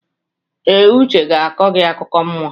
Ee, Uche ga-akọ gị akụkọ mmụọ.